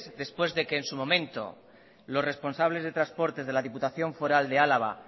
después de que en su momento los responsables de transporte de la diputación foral de álava